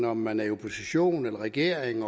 om man er i opposition eller i regering